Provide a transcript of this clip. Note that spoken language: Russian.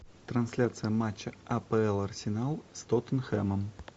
трансляция матча апл арсенал с тоттенхэмом